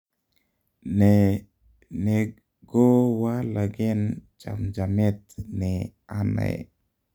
ne negowalagen chamjamet ne anae?